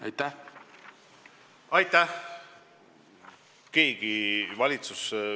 Aitäh!